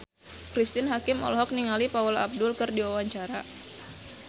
Cristine Hakim olohok ningali Paula Abdul keur diwawancara